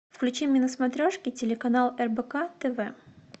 включи мне на смотрешке телеканал рбк тв